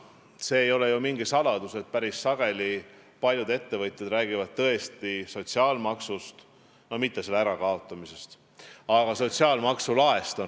See ei ole ju mingi saladus, et paljud ettevõtjad räägivad päris sageli mitte küll sotsiaalmaksu ärakaotamisest, aga sotsiaalmaksu laest.